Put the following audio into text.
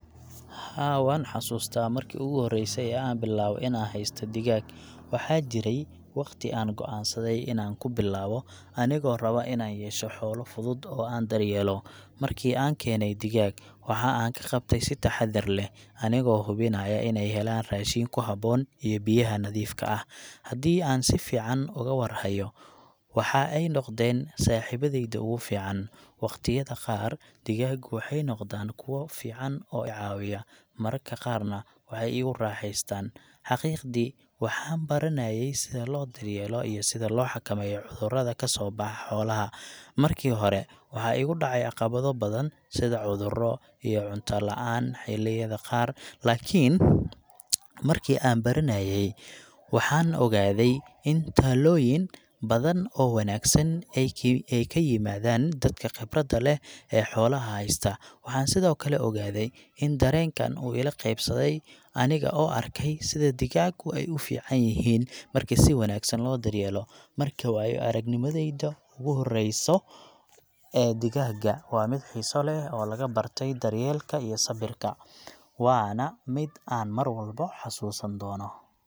Haa, waxaan xusuustaa markii ugu horeysay ee aan bilaabay inaan haysto digaag. Waxaa jiray waqti aan go'aansaday inaan ku bilaabo, anigoo raba inaan yeesho xoolo fudud oo aan daryeelo. Markii aan keenay digaag, waxa aan ka qabtay si taxadar leh, anigoo hubinaya in ay helaan raashin ku habboon iyo biyaha nadiifka ah. Haddii aan si fiican uga war hayo, waxa ay noqdeen saaxiibadayda ugu fiican. Waqtiyada qaar, digaagu waxay noqdaan kuwo fiican oo i caawiya, mararka qaarna waxay igu raaxeystaan. Xaqiiqdii, waxaan baranayay sida loo daryeelo iyo sida loo xakameeyo cudurrada ka soo baxa xoolaha. Markii hore, waxaa igu dhacay caqabado badan sida cudurro, iyo cunta la’aan xilliyada qaar. Laakiin markii aan baranayay, waxaan ogaaday in talooyin badan oo wanaagsan ay ka yimaadaan dadka khibradda leh ee xoolaha haysta. Waxaan sidoo kale ogaaday in dareenkan uu ila qabsaday aniga oo arkay sida digaaggu ay u fiican yihiin markii si wanaagsan loo daryeelo. Marka, waayo-aragnimadeyda ugu horeyso ee digaaga waa mid xiiso leh oo lagu bartay daryeelka iyo sabirka, waana mid aan marwalba xusuusan doono.